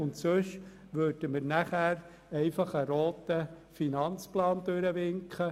Sonst würden wir einfach einen defizitären Finanzplan durchwinken.